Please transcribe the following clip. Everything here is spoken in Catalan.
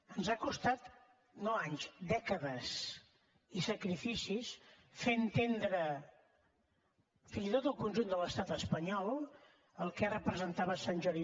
ens ha costat no anys dècades i sacrificis fer entendre fins i tot al conjunt de l’estat espanyol el que representava sant jordi